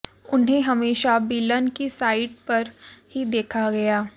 उन्हें हमेशा विलन की साइड पर ही देखा गया